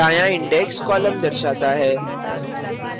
दायाँ index column दर्शाता है